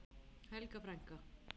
Helga frænka.